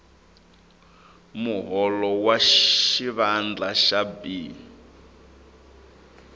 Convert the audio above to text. muholo wa xivandla xa b